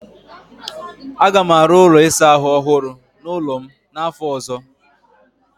Aga m arụ ụlọ ịsa ahụ ọhụrụ n'ụlọ m n'afọ ọzọ.